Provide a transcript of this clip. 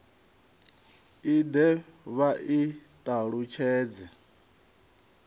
i de vha i talutshedze